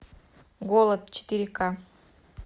голод четыре ка